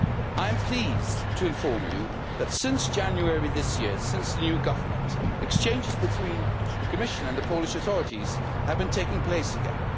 I am pleased to inform you that since January this year, since the new government has been in power, exchanges between the Commission and the Polish authorities have been taking place again.